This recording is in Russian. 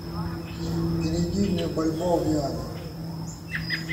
переведи мне бальбоа в юани